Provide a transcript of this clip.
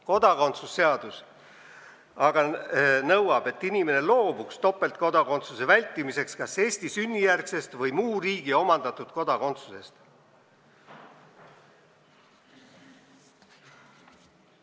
Kodakondsuse seadus aga nõuab, et inimene loobuks topeltkodakondsuse vältimiseks kas Eesti sünnijärgsest kodakondsusest või omandatud muu riigi kodakondsusest.